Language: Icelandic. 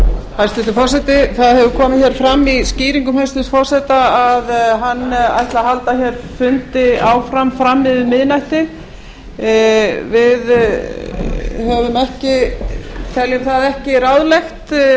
hæstvirtur forseti það hefur komið hér fram í skýringum hæstvirts forseta að hann ætli að halda hér fundi áfram fram yfir miðnætti við teljum það ekki ráðlegt